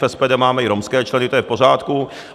V SPD máme i romské členy, to je v pořádku.